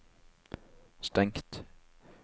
stengt